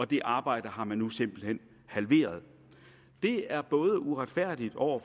det arbejde har man nu simpelt hen halveret det er både uretfærdigt over